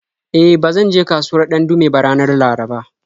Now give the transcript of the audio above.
E, ba zan je kasuwar Dandume ba ranar Laraba.